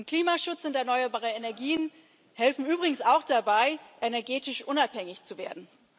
Klimaschutz und erneuerbare Energien helfen übrigens auch dabei, energetisch unabhängig zu werden.